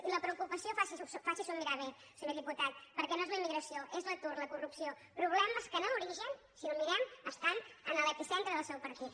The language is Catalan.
i la preocu·pació faci·s’ho mirar bé senyor diputat perquè no és la immigració és l’atur la corrupció problemes que en l’origen si ho mirem estan en l’epicentre del seu partit